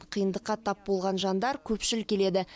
қиындыққа тап болған жандар көпшіл келеді